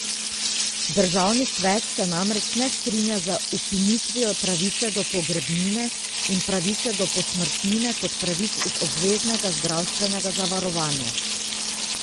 Državni svet se namreč ne strinja z ukinitvijo pravice do pogrebnine in pravice do posmrtnine kot pravic iz obveznega zdravstvenega zavarovanja.